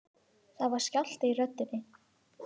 Það var skjálfti í röddinni.